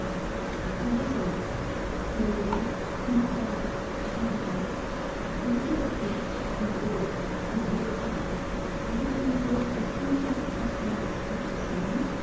аға жан сәулем мақпалым ағатай қыз дыбысы үздігіп-үздігіп шығады сегіз оны аяп кеткендей қапсыра құшқан құшағын